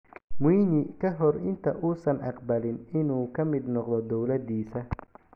Mwinyi ka hor inta uusan aqbalin inuu ka mid noqdo dowladiisa.